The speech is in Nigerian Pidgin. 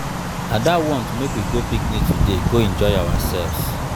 ada wan um make we go picnic today go enjoy ourselves.